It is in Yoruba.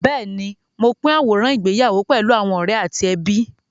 Bẹ́ẹ̀ni, mo pín àwòrán ìgbéyàwó pẹ̀lú àwọn ọ̀rẹ́ àti ẹbí.